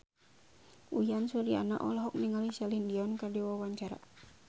Uyan Suryana olohok ningali Celine Dion keur diwawancara